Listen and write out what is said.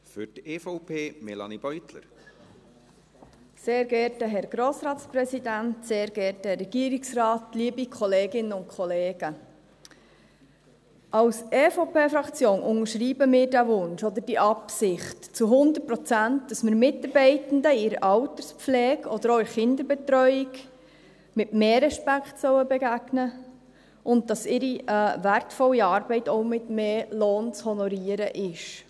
Die EVP-Fraktion unterscheibt diesen Wunsch oder diese Absicht zu 100 Prozent, dass wir Mitarbeitenden in der Alterspflege oder auch in der Kinderbetreuung mit mehr Respekt begegnen sollen, und dass ihre wertvolle Arbeit auch mit mehr Lohn zu honorieren ist.